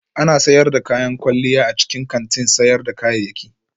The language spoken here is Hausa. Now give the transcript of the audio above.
Ana sayar da kayan kwalliya a cikin kantin sayar da kayayyaki